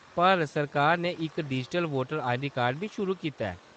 भारत सरकार ने इक डिजिटल वोटर आईडी कार्ड बी शुरू कीता ऐ।